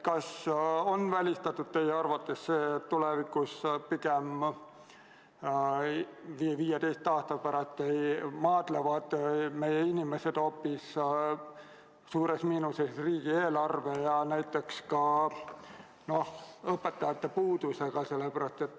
Kas teie arvates on välistatud, et 15 aasta pärast maadlevad meie inimesed hoopis suures miinuses riigieelarvega ja näiteks ka õpetajate puudusega?